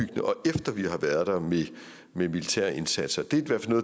efter vi har været der med militære indsatser